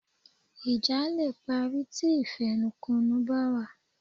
Ìjà leè parí ti ìfẹnukonu bá wà